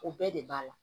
O bɛɛ de b'a la